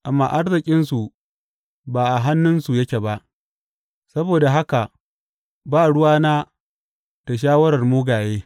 Amma arzikinsu ba a hannunsu yake ba saboda haka ba ruwana da shawarar mugaye.